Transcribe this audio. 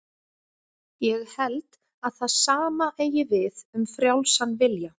Ég held að það sama eigi við um frjálsan vilja.